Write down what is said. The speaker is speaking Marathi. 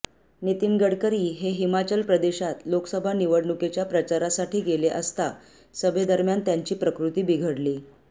नितीन गडकरी हे हिमाचल प्रदेशात लोकसभा निवडणुकीच्या प्रचारासाठी गेले असता सभेदरम्यान त्यांची प्रकृती बिघडली